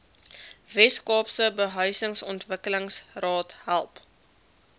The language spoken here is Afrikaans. weskaapse behuisingsontwikkelingsraad help